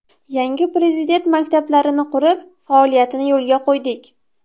Yangi Prezident maktablarini qurib, faoliyatini yo‘lga qo‘ydik.